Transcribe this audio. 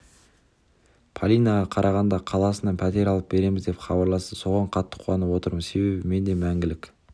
полинаға қарағанды қаласынан пәтер алып береміз деп хабарласты соған қатты қуанып отырмын себебі мен де мәңгілік